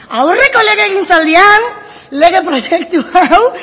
aurreko legegintzaldian lege proiektu hau